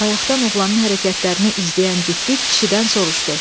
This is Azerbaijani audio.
Bayaqdan oğlanın hərəkətlərini izləyən cütlük kişidən soruşdu.